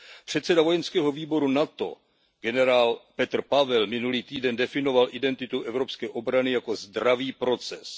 Předseda vojenského výboru NATO generál Petr Pavel minulý týden definoval identitu evropské obrany jako zdravý proces.